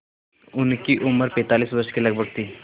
उनकी उम्र पैंतालीस वर्ष के लगभग थी